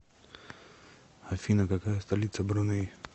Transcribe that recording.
афина какая столица бруней